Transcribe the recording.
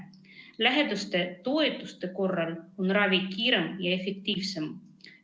Lähedaste toetuse korral on ravi kiirem ja efektiivsem.